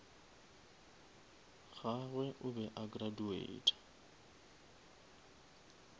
gagwe o be a graduata